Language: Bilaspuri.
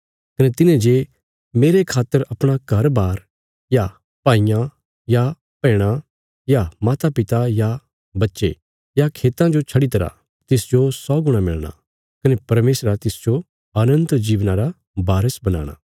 कने तिन्हे जे मेरे खातर अपणा घरबार या भाईयां या बैहणां या मातापिता या बच्चे या खेतां जो छड्डीतरा तिसजो सौ गुणा मिलणा कने परमेशरा तिसजो अनन्त जीवना रा बारस बनाणा